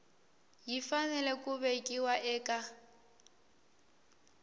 yi fanele ku vekiwa eka